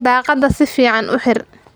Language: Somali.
daqada si fican uu xiir.